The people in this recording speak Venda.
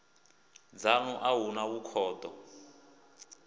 dzanu a hu na vhukhudo